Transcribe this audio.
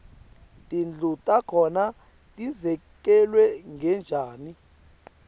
tindlu takhona tidzekelwe ngetjani